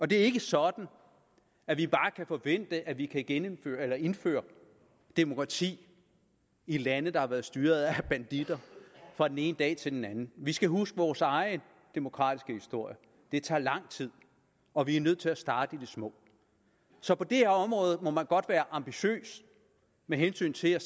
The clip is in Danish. det er ikke sådan at vi bare kan forvente at vi kan indføre indføre demokrati i lande der har været styret af banditter fra den ene dag til den anden vi skal huske vores egen demokratiske historie det tager lang tid og vi er nødt til at starte i det små så på det her område må man godt være ambitiøs med hensyn til at